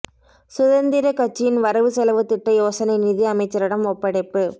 சுதந்திரக் கட்சியின் வரவு செலவுத் திட்ட யோசனை நிதி அமைச்சரிடம் ஒப்படைப்பு